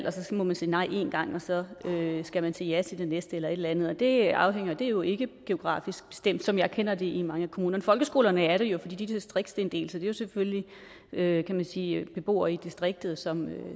og så må man sige nej en gang men så skal man sige ja til det næste tilbud eller et eller andet det er er jo ikke det geografisk bestemt som jeg kender det i mange kommuner folkeskolerne er det jo fordi de er distriktsinddelt så det er jo selvfølgelig kan man sige beboere i distriktet som